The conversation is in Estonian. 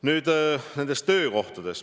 Nüüd nendest töökohtadest.